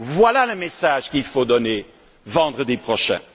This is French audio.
défis! Voilà le message qu'il faut donner vendredi prochain.